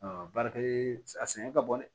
baarakɛ a sɛgɛn ka bon dɛ